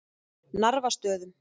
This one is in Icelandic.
Narfastöðum